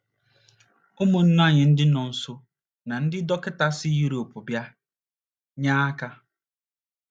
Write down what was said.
Ụmụnna anyị ndị nọọsụ na ndị dọkịta si Yurop bịa nye aka